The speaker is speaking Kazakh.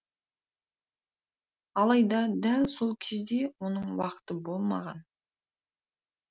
алайда дәл сол кезде оның уақыты болмаған